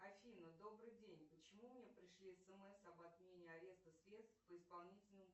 афина добрый день почему мне пришли смс об отмене ареста средств по исполнительному